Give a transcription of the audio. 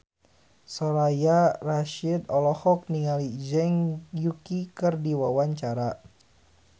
Soraya Rasyid olohok ningali Zhang Yuqi keur diwawancara